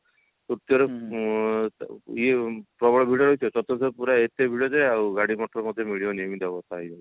ତୃତୀୟ ରେ ଇଏ ପ୍ରବଳ ଭିଡ ହେଇଥିବ ଚର୍ତୁଥ ରେ ପୁରା ଏତେ ଭିଡ ଯେ ଆଉ ଗଡ ମଟର ମଧ୍ୟ ମିଳିବନି ଏମିତି ଅବସ୍ତା ହେଇଯାଉଛି